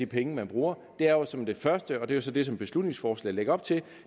penge man bruger er jo som det første og det er så det som beslutningsforslaget lægger op til